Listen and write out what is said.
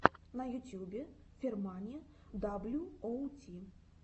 на ютьюбе фермани даблюоути